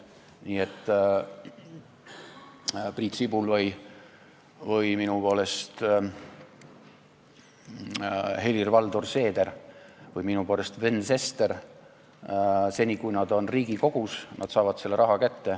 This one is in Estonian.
Nii et Priit Sibul või minu poolest Helir-Valdor Seeder või Sven Sester saavad seni, kui nad on Riigikogus, selle raha kätte.